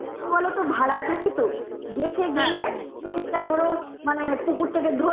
কি বলোতো ভাড়া থাকি তো দেশে গেলে জিনিসটা ধরো পুকুর থেকে